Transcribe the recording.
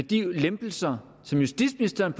de lempelser som justitsministeren